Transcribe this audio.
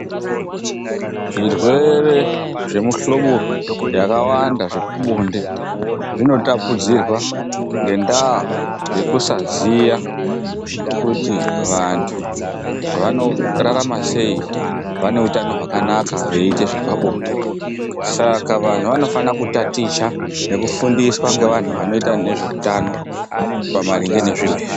Zvirwere zvemuhlobo yakawanda yepabonde, zvinotapudzirwa ngendaa yekusaziya kuti vantu vanorarama sei vane utano hwakanaka veyiita zvepabonde. Saka vantu vanofanira kutaticha nekufundiswa ngevantu vanoita nezveutano pamaringe nezviro izvi.